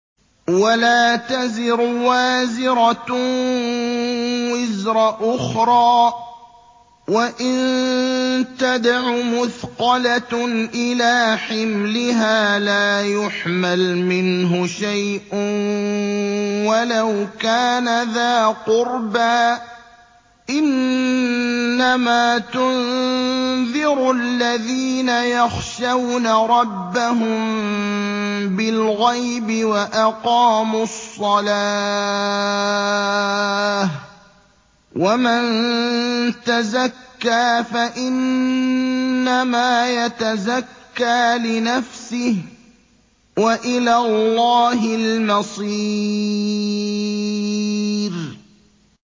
وَلَا تَزِرُ وَازِرَةٌ وِزْرَ أُخْرَىٰ ۚ وَإِن تَدْعُ مُثْقَلَةٌ إِلَىٰ حِمْلِهَا لَا يُحْمَلْ مِنْهُ شَيْءٌ وَلَوْ كَانَ ذَا قُرْبَىٰ ۗ إِنَّمَا تُنذِرُ الَّذِينَ يَخْشَوْنَ رَبَّهُم بِالْغَيْبِ وَأَقَامُوا الصَّلَاةَ ۚ وَمَن تَزَكَّىٰ فَإِنَّمَا يَتَزَكَّىٰ لِنَفْسِهِ ۚ وَإِلَى اللَّهِ الْمَصِيرُ